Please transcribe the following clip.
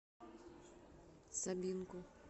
сабинку